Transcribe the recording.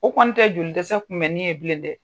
O kɔni tɛ joli dɛsɛ kunbɛnni ye bilen dɛ.